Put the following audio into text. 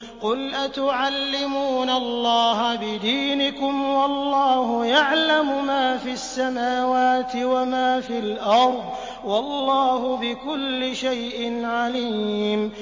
قُلْ أَتُعَلِّمُونَ اللَّهَ بِدِينِكُمْ وَاللَّهُ يَعْلَمُ مَا فِي السَّمَاوَاتِ وَمَا فِي الْأَرْضِ ۚ وَاللَّهُ بِكُلِّ شَيْءٍ عَلِيمٌ